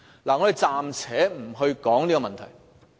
我們暫且不談這些問題。